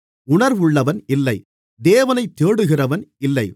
உணர்வுள்ளவன் இல்லை தேவனைத் தேடுகிறவன் இல்லை